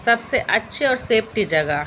सबसे अच्छे और सेप्टी जगह।